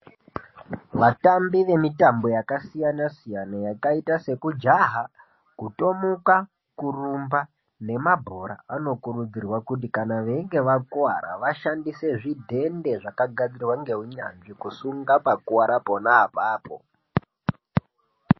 Vatambi vemitambo yakasiyana siyana yakaita seku jaha, kutomuka, kurumba, nemabhora vanokurudzirwa kuti kana veinge vakuvara ngava shandise zvidhende zvakagadzirwa nehunyanzvi kusunga pakuvara apo neapapo.